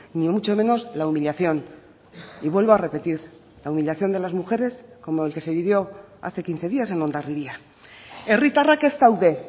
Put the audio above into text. ni mucho menos la humillación y vuelvo a repetir la humillación de las mujeres como el que se vivió hace quince días en hondarribia herritarrak ez daude